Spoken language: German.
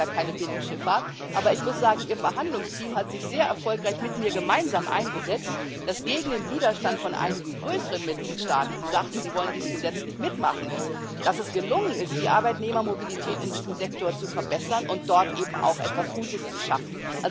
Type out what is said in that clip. Sie haben gar keine Binnenschifffahrt, aber ich muss sagen, Ihr Verhandlungsteam hat sich sehr erfolgreich mit mir gemeinsam eingesetzt, dass es gegen den Widerstand von einigen größeren Mitgliedstaaten, die sagten, sie wollen dies gesetzlich mitmachen, gelungen ist, die Arbeitnehmermobilität in diesem Sektor zu verbessern und dort eben auch etwas Gutes zu schaffen.